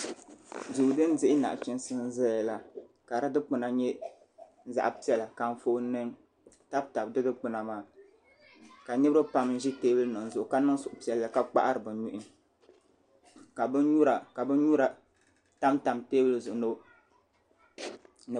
Duu din dihi naɣachiinsi n zaya ka di dikpina nye zaɣa piɛla ka Anfooni nima tabi tabi di dikpina maa ka Niriba pam ʒi teebuli nima maa zuɣu ka ye liiga piɛlli ka kpahari bɛ nuhi ka binnyura tam tam teebuli zuɣu.